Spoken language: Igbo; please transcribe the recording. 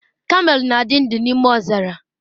Kamel na-adị ndụ n'ime ọzara.